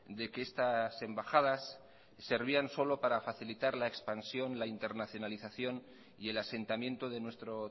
de que estas embajadas servían solo para facilitar la expansión la internacionalización y el asentamiento de nuestro